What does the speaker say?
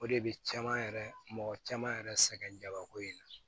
O de bɛ caman yɛrɛ mɔgɔ caman yɛrɛ sɛgɛn jabako in na